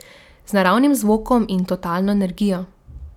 Z naravnim zvokom in totalno energijo.